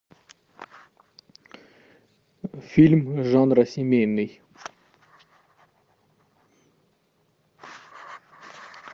фильм жанра семейный